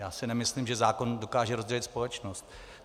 Já si nemyslím, že zákon dokáže rozdělit společnost.